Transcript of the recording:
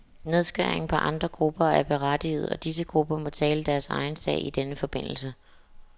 Nedskæringer på andre grupper er berettigede, og disse grupper må tale deres egen sag i denne forbindelse.